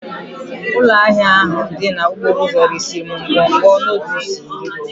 Ụlọ ahịa ahụ dị n'okporo ụzọ resiri m ngwugwu noodles iri